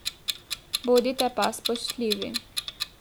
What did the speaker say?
Bodite pa spoštljivi.